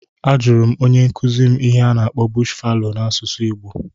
A jụrụ m onye nkuzi m ihe a na-akpọ "bush fallow" n'asụsụ igbo